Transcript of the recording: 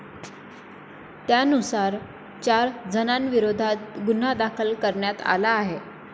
त्यानुसार, चार जणांविरोधात गुन्हा दाखल करण्यात आला आहे.